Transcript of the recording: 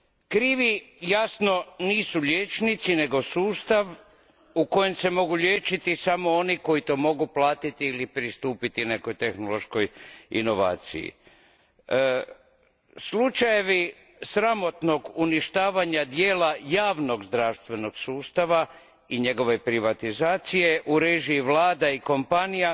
Krivi, jasno, nisu liječnici, nego sustav u kojem se mogu liječiti samo oni koji to mogu platiti ili pristupiti nekoj tehnološkoj inovaciji. Slučajevi sramotnog uništavanja dijela javnog zdravstvenog sustava i njegove privatizacije u režiji vlada i kompanija